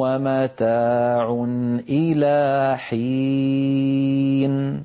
وَمَتَاعٌ إِلَىٰ حِينٍ